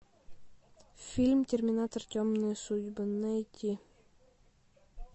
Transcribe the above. фильм терминатор темные судьбы найти